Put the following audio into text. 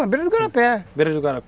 Na beira do